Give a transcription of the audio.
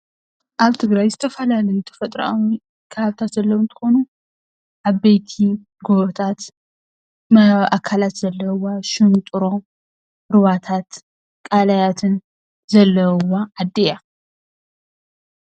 ኣብ ትግራይ ዝተፈላለዩ ተፈጥርኣዊ ከባብታት ዘለዉ እንትኮኑ ዓበይቲ ጎቦታት ማያዊ ኣካላት ዘለዉዋ ሽንጥሮ ሩባታት ቀላያትን ዘለዉዋ ዓዲ እያ።